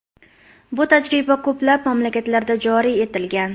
Bu tajriba ko‘plab mamlakatlarda joriy etilgan.